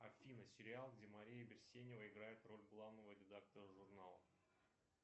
афина сериал где мария берсенева играет роль главного редактора журнала